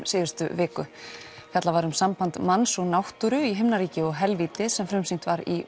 síðustu viku fjallað var um samband manns og náttúru í himnaríki og helvíti sem frumsýnt var í